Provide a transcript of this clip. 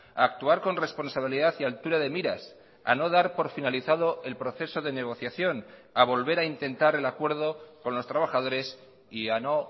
a actuar con responsabilidad y altura de miras a no dar por finalizado el proceso denegociación a volver a intentar el acuerdo con los trabajadores y a no